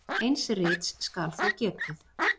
Eins rits skal þó getið.